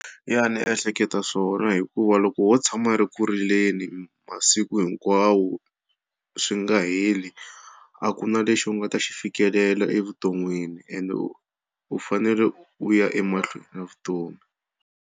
Ya ni ehleketa swona hikuva loko wo tshama u ri ku rileni masiku hinkwawo swi nga heli a ku na lexi u nga ta xi fikelela evuton'wini ende u u fanele u ya emahlweni na vutomi.